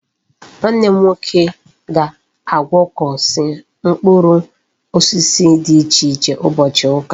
Nwanne m nwoke ga agwokosi mkpuru osisi di iche iche ubochi uka